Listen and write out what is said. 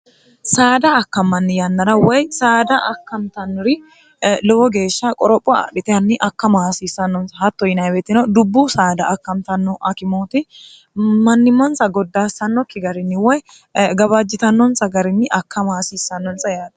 saada akkammanni yannara woy saada akkantannori lowo geeshsha qoropho aadhitehanni akkama hasiissannonsa hatto yinweetino dubbu saada akkamtanno akimooti mannimmonsa goddaassannokki garinni woy gabaajjitannonsa garinni akkama hasiissannonsa yaate